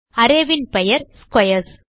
arrayன் பெயர் ஸ்க்வேர்ஸ்